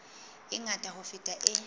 e ngata ho feta e